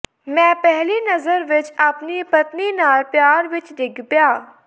ਮੈਂ ਪਹਿਲੀ ਨਜ਼ਰ ਵਿੱਚ ਆਪਣੀ ਪਤਨੀ ਨਾਲ ਪਿਆਰ ਵਿੱਚ ਡਿੱਗ ਪਿਆ